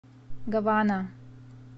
гавана